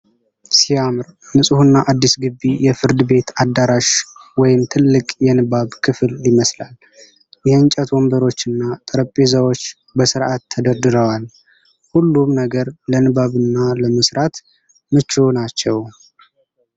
ሲያምር! ንፁህና አዲስ ግቢ! የፍርድ ቤት አዳራሽ ወይም ትልቅ የንባብ ክፍል ይመስላል። የእንጨት ወንበሮችና ጠረጴዛዎች በስርዓት ተደርድረዋል። ሁሉም ነገር ለንባብና ለመስራት ምቹ ነው።